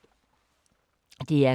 DR K